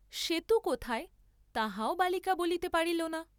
সেতু কোথায়, তাহাও বালিকা বলিতে পারিলনা।